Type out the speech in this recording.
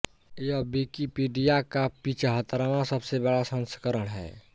यह विकिपीडिया का पिचहत्तरवां सबसे बड़ा संस्करण है